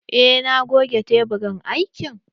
Eh na goge teburin aikin.